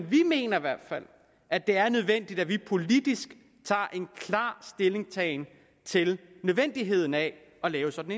vi mener i hvert fald at det er nødvendigt at vi politisk tager klar stilling til nødvendigheden af at lave sådan